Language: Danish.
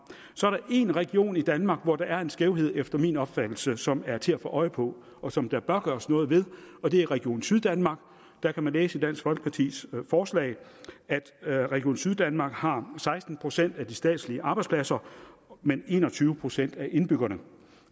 så er der én region i danmark hvor der er en skævhed efter min opfattelse som er til at få øje på og som der bør gøres noget ved og det er region syddanmark der kan man læse i dansk folkepartis forslag at region syddanmark har seksten procent af de statslige arbejdspladser men en og tyve procent af indbyggerne